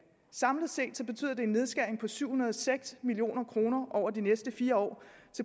samlet set betyder det en nedskæring på syv hundrede og seks million kroner over de næste fire år